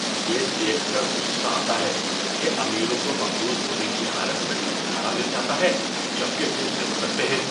یہ دیکھ کر غصہ آتا ہے کہ امیروں کو مقروض ہونے کی حالت میں چھٹکارا مل جاتا ہے جبکہ دوسرے بھگتتے ہیں۔